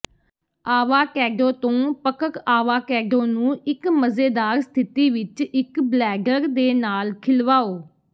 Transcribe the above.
avocado ਤੋਂ ਪਕ੍ਕ avocado ਨੂੰ ਇੱਕ ਮਜ਼ੇਦਾਰ ਸਥਿਤੀ ਵਿੱਚ ਇੱਕ ਬਲੈਡਰ ਦੇ ਨਾਲ ਖਿਲਵਾਓ